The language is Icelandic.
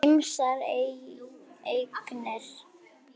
Ýmsar eignir.